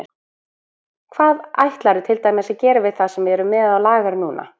Hvað ætlarðu til dæmis að gera við það sem við erum með á lager núna?